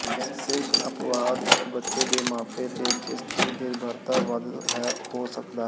ਸਿਰਫ ਅਪਵਾਦ ਇੱਕ ਬੱਚੇ ਦੇ ਮਾਪੇ ਤੇ ਜਿਸ ਦੀ ਨਿਰਭਰਤਾ ਵੱਧ ਹੈ ਹੋ ਸਕਦਾ ਹੈ